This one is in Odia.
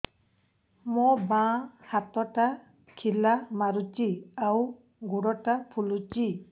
ମୋ ବାଆଁ ହାତଟା ଖିଲା ମାରୁଚି ଆଉ ଗୁଡ଼ ଟା ଫୁଲୁଚି